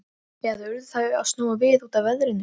Eða urðu þau að snúa við út af veðrinu?